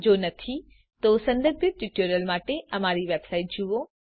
જો નથી તો સંબંધિત ટ્યુટોરીયલ માટે અમારી વેબસાઈટ જુઓ